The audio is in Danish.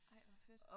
Ej hvor fedt